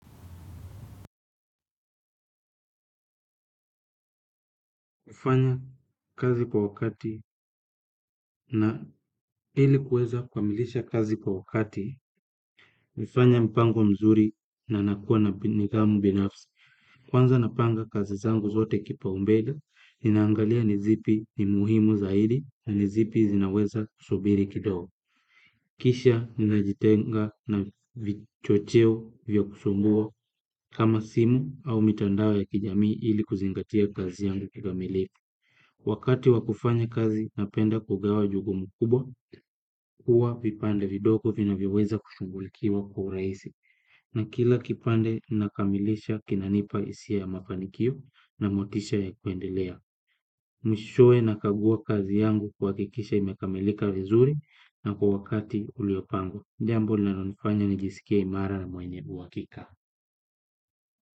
Kufanya kazi kwa wakati na ilikuweza kukamilisha kazi kwa wakati, nafanya mpango mzuri na nakuwa na nidhamu binafsi. Kwanza napanga kazi zangu zote kipau mbele, ninaangalia nizipi ni muhimu zaidi na nizipi zinaweza kusubiri kidogo. Kisha ninajitenga na vichocheo vya kusumbua kama simu au mitandao ya kijamii ili kuzingatia kazi yangu kikamilifu. Wakati wakufanya kazi napenda kugawa jukumu kubwa, kuwa vipande vidogo vina vyoweza kushughulikiwa kwa urahisi, na kila kipande nakamilisha kinanipa isia ya mafanikio na motisha ya kuendelea. Mwishowe nakagua kazi yangu kuhakikisha imekamilika vizuri na kwa wakati uliopangwa. Jambo linalonifanya ni jisikie imara na mwenye uhakika.